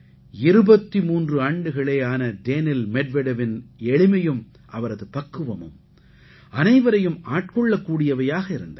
23 ஆண்டுகளே ஆன டேனில் மெட்வெடெவின் எளிமையும் அவரது பக்குவமும் அனைவரையும் ஆட்கொள்ளக்கூடியவையாக இருந்தன